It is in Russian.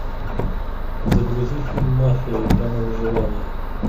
загрузи фильм мафия игра на выживание